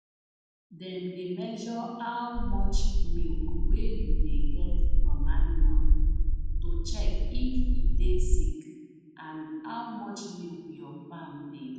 dem dey measure how much milk wey you dey get from animal to check if e dey sick and how much milk your farm dey